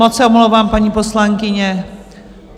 Moc se omlouvám, paní poslankyně.